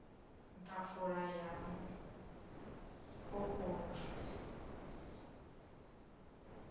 ḓafula ya mu o ulusi